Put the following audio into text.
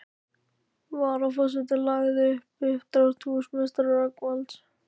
Varaforseti lagði fram uppdrátt húsameistara Rögnvalds